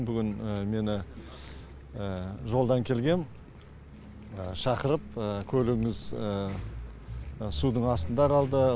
бүгін мені жолдан келгем шақырып көлігіңіз судың астында қалды